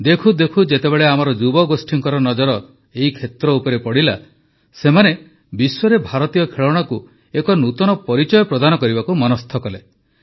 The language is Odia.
ଦେଖୁ ଦେଖୁ ଯେତେବେଳେ ଆମର ଯୁବଗୋଷ୍ଠୀଙ୍କ ନଜର ଏହି କ୍ଷେତ୍ର ଉପରେ ପଡ଼ିଲା ସେମାନେ ବିଶ୍ୱରେ ଭାରତୀୟ ଖେଳଣାକୁ ଏକ ନୂତନ ପରିଚୟ ପ୍ରଦାନ କରିବାକୁ ମନସ୍ଥ କଲେ